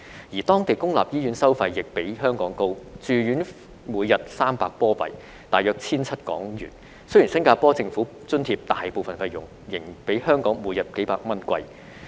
而當地公立醫院收費亦比香港高，住院費每天300新加坡元，即大約 1,700 港元，雖然新加坡政府津貼大部分費用，仍比香港每天幾百元貴。